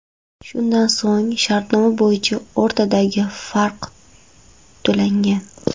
Shundan so‘ng shartnoma bo‘yicha o‘rtadagi farq to‘langan.